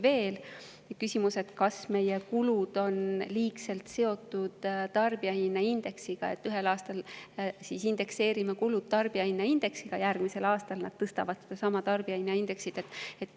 Seal on küsimus, kas meie kulud on liigselt seotud tarbijahinnaindeksiga: kui me ühel aastal indekseerime kulud tarbijahinnaindeksiga, siis järgmisel aastal nad sedasama tarbijahinnaindeksit tõstavad.